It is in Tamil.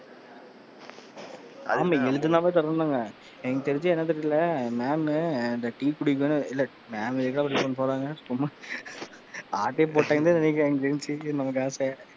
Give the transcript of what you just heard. ஆமா எழுதுனாவே தர்ரம்னாங்க எனக்கு தெரிஞ்சு என்ன தெரியலை mam அந்த டீ குடிக்க வேணா இல்லை mam எதுக்குடா அப்படி பண்ண போறாங்க சும்மா ஆட்டையைப் போட்டாங்கன்னு தான் நினைக்குறன் எனக்கு தெரிஞ்சு நம்ம காசை,